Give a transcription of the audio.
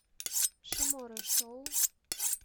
шимора шоу